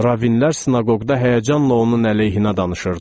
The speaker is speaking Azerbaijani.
Ravinlər sinaqoqda həyəcanla onun əleyhinə danışırdı.